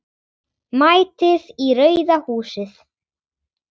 MÆTIÐ Í RAUÐA HÚSIÐ.